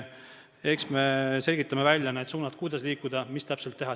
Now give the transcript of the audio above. Eks me selgitame välja need suunad, kuidas liikuda ja mis täpselt teha.